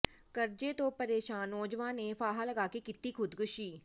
ਕਰਜ਼ੇ ਤੋਂ ਪਰੇਸ਼ਾਨ ਨੌਜਵਾਨ ਨੇ ਫਾਹਾ ਲਗਾ ਕੇ ਕੀਤੀ ਖੁਦਕੁਸ਼ੀ